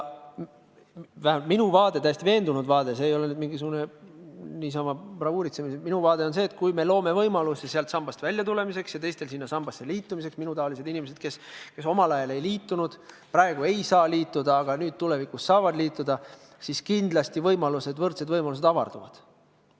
Vähemalt minu vaade, täiesti veendunud vaade – see ei ole nüüd mingisugune niisama bravuuritsemine –, on see, et kui me loome võimalusi sambast väljumiseks ja võimalusi selle sambaga liitumiseks – minutaolised inimesed, kes omal ajal ei liitunud, praegu liituda ei saa, aga tulevikus saavad –, siis võimalused, võrdsed võimalused kindlasti avarduvad.